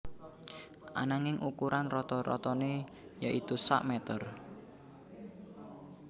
Ananging ukuran rata ratané yaitu sak mèter